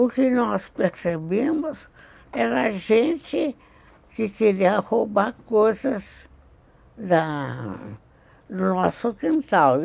O que nós percebemos era gente que queria roubar coisas da do nosso quintal.